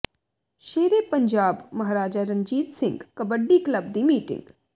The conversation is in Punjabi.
ਸ਼ੇਰੇ ਪੰਜਾਬ ਮਹਾਰਾਜਾ ਰਣਜੀਤ ਸਿੰਘ ਕਬੱਡੀ ਕਲੱਬ ਦੀ ਮੀਟਿੰਗ